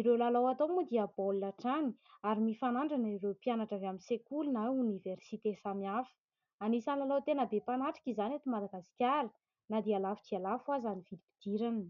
Ireo lalao atao moa dia baolina hatrany ary mifanandrina ireo mpianatra avy amin'ny sekoly na oniversite samihafa. Anisan'ny lalao tena be mpanatrika izany eto Madagasikara na dia lafo dia lafo aza ny vidim-pidirana.